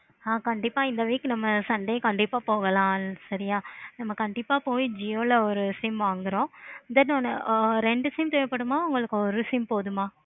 ஆஹ் கண்டிப்பா இந்த week நம்ம sunday கண்டிப்பா போகலாம். சரியா நம்ம கண்டிப்பா போய் jio ல ஒரு sim வாங்குறோம். then ரெண்டு sim தேவைப்படுமா இல்லை ஒரு sim போதுமா?